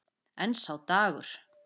En sá dagur!